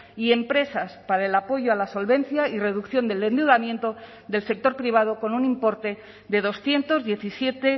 y empresas para el apoyo a la solvencia y reducción del endeudamiento del sector privado con un importe de doscientos diecisiete